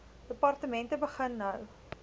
departemente begin nou